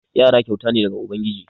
Yara kyauta ne daga ubangiji.